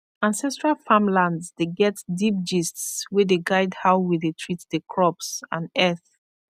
ancestral farmlands dey get deep gists wey dey guide how we dey treat the crops and earth